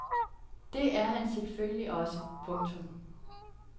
Det er han selvfølgelig også. punktum